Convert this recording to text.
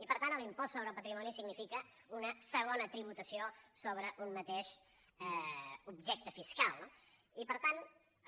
i per tant l’impost sobre el patrimoni significa una segona tributació sobre un mateix objecte fiscal no i per tant